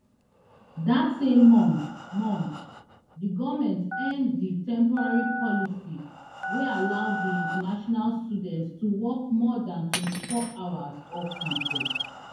dat same month month di goment end di temporary policy wey allow di international students to work more dan twenty hours off campus